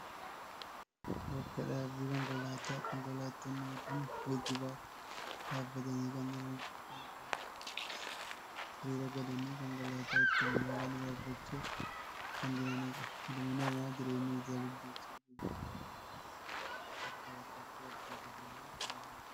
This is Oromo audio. Bakka dhaabbii konkolaataa. Konkolaattonni hedduun geejjibaaf dhaabbatanii kan jiranidha. Imaltoonni baay'eenis hiriira galanii konkolaataa ittiin imalan yaabbachuuf kan jiranidha. Ilmi namaa jireenya isaa gaggeessuuf guyyaadhaa gara guyyaatti bakkaa bakkatti wal-keessa deemaa kan ooludha.